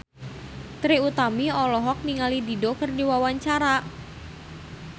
Trie Utami olohok ningali Dido keur diwawancara